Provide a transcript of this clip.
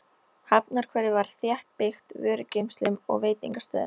Hafnarhverfið var þéttbyggt vörugeymslum og veitingastöðum.